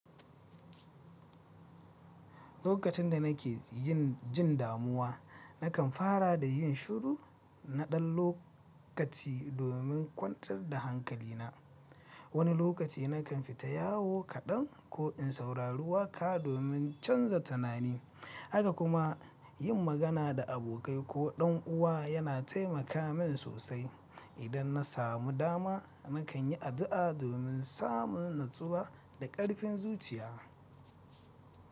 Lokacin da nake yin jin damuwa, nakan fara da yin shiru na ɗan lokaci domin kwantar da hankalina. Wani lokaci nakan fita yawo kaɗan ko in saurari waƙa domin canza tunani. Haka kuma yin magana da abokai ko ɗan uwa yana taimaka min sosai. Idan na samu dama, nakan yi addu'a domin samun natsuwa da ƙarfin zuciya.